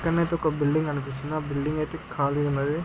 ఇక్కడనైతే ఒక బిల్డింగ్ కనిపిస్తున్న. ఆ బిల్డింగ్ అయితే ఖాళీ ఏ మరి.